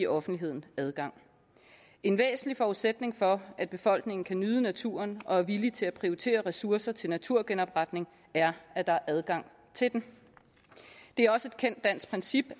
offentligheden adgang en væsentlig forudsætning for at befolkningen kan nyde naturen og er villig til at prioritere ressourcer til naturgenopretning er at der er adgang til den det er også et kendt dansk princip at